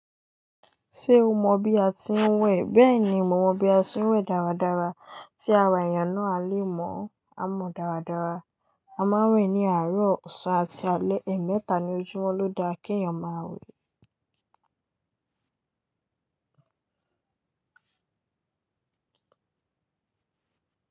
Ṣé o mọ bí a ti ń wẹ̀? Bẹ́ẹ̀ni, mo mọ bí a ṣe ń wẹ̀ dáradára. Tí ara èèyàn náà a lé mọ́, a mọ dáradára. A máa ń wẹ̀ ní àárọ̀, ọ̀sán àti alẹ́. Ẹ̀ẹ̀mẹta ní ojúmọ́ ló da kí èèyàn máa wẹ̀.